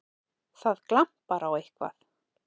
Það glampar á eitthvað!